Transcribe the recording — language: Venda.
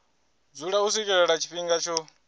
dzula u swikela tshifhinga tsho